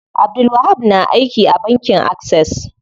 Abdulwahab na aiki a bankin Access.